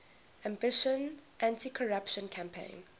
ambitious anticorruption campaign